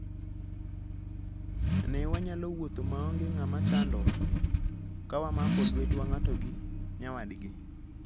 Ne wanyalo wuotho maonge ng'ama chandowa, ka wamako lwetwa ng'ato gi nyawadgi.